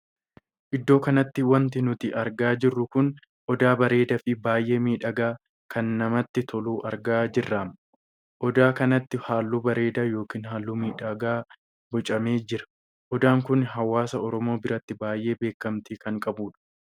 Iddoo kanatti wanti nuti argaa jirru kun odaa bareedaa fi baay'ee miidhagaa kan namatti toluu argaa jirraam. odaa kanatti halluu bareedaa ykn halluu miidhagaa bocamee jira. odaan kun hawaasaa Oromoo biratti baay'ee beekamtii kan qabuudha.